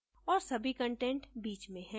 और सभी कंटेंट बीच में हैं